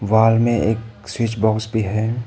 Wall में एक switch box भी है।